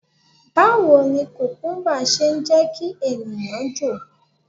Báwo ni kùkúmbà ṣe ń jẹ́ kí ènìyàn jò?